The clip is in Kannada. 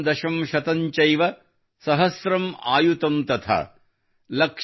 ಎಕಂ ದಶಂ ಶತಂ ಚೈವ ಸಹಸ್ರಮ್ ಅಯುತಂ ತಥಾ |